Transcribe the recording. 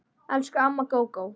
Elsku amma Gógó.